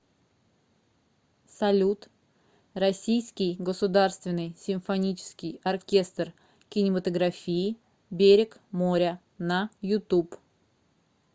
салют российский государственный симфонический оркестр кинематографии берег моря на ютуб